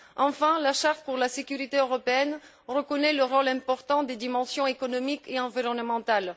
Enfin, la Charte pour la sécurité européenne reconnaît le rôle important des dimensions économique et environnementale.